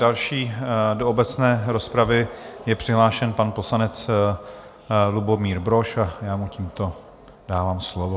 Další do obecné rozpravy je přihlášen pan poslanec Lubomír Brož a já mu tímto dávám slovo.